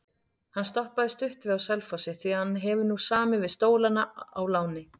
Hann stoppaði stutt við á Selfossi því hann hefur nú samið við Stólana á láni.